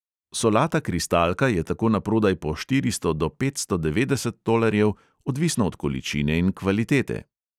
Solata kristalka je tako naprodaj po štiristo do petsto devetdeset tolarjev, odvisno od količine in kvalitete.